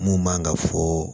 Mun man kan ka fɔ